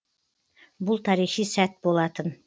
бұл тарихи сәт болатын